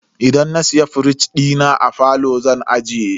Idan na siya firij dina, a falo zan ajiye.